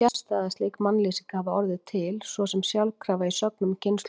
Það er fjarstæða að slík mannlýsing hafi orðið til svo sem sjálfkrafa í sögnum kynslóðanna.